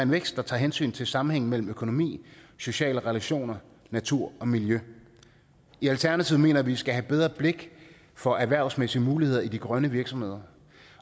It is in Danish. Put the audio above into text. vækst der tager hensyn til sammenhængen mellem økonomi sociale relationer natur og miljø i alternativet mener vi vi skal have bedre blik for erhvervsmæssige muligheder i de grønne virksomheder